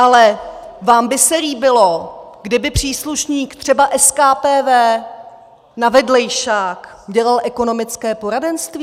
Ale vám by se líbilo, kdyby příslušník třeba SKPV na vedlejšák dělal ekonomické poradenství?